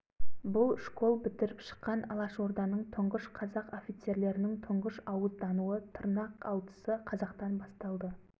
орал облысындағы ашылған қазақ инструкторлары даярланатын мектептен бірінші октябрьде қазақ инструкторлары оқу бітіріп қазақ жігіттерін үйретуге шықты